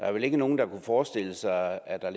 er vel ikke nogen der kunne forestille sig at